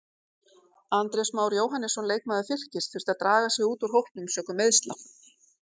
Andrés Már Jóhannesson leikmaður Fylkis þurfti að draga sig út úr hópnum sökum meiðsla.